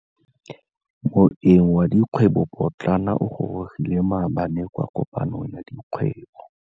Moêng wa dikgwêbô pôtlana o gorogile maabane kwa kopanong ya dikgwêbô.